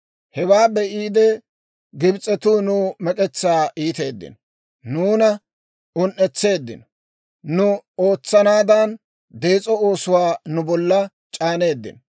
Hewaa be'iide, Gibs'etuu nuw mek'etsaa iiteeddino; nuuna un"etseeddino. Nu ootsanaadan dees'o oosuwaa nu bolla c'aaneeddino.